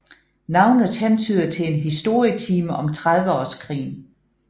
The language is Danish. Navnet hentyder til en historietime om Trediveårskrigen